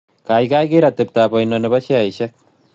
Gaigai ker atepetap oino ne po sheaisiek